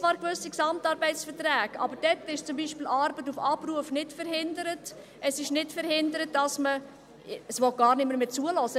Zwar gibt es gewisse GAV, aber durch diese wird zum Beispiel Arbeit auf Abruf nicht verhindert, es wird nicht verhindert, dass man ... Es will gar niemand mehr zuhören.